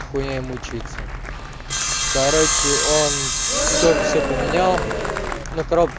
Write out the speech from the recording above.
нахуя им учиться короче он тоже все поменял ну короб